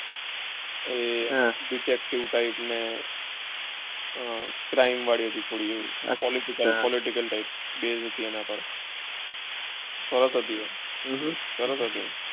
અર detective, type ને uh crime વળી હતી થોડી એવી political ટાઈપ હતી એના પાસે સરસ હતી સરસ હતી. ઉહ